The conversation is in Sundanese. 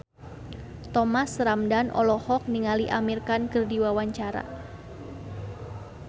Thomas Ramdhan olohok ningali Amir Khan keur diwawancara